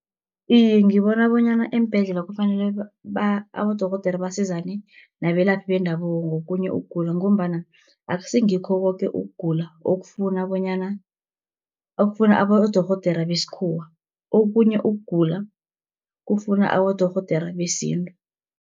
Iye ngibona bonyana eembhedlela kufanele abodorhodera basizane nabelaphi bendabuko, ngokhunye ukugula, ngombana akusingikho koke ukugula okufuna abodorhodere besikhuwa, okhunye ukugula kufuna abodorhodere besintu.